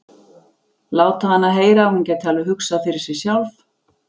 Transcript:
Láta hana heyra að hún gæti alveg hugsað fyrir sig sjálf.